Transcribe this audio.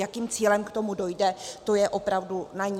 Jakým cílem k tomu dojde, to je opravdu na ní.